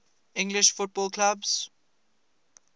english football clubs